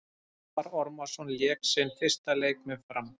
Almarr Ormarsson lék sinn fyrsta leik með Fram.